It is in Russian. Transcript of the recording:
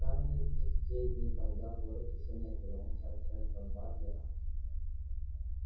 но скарлетт и в те дни когда город ещё не отвернулся от ретта батлера